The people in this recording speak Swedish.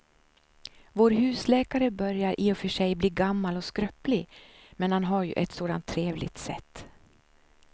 Vår husläkare börjar i och för sig bli gammal och skröplig, men han har ju ett sådant trevligt sätt!